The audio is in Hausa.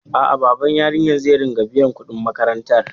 A'a, baban yaran zai riƙa biyan kuɗin makarantar.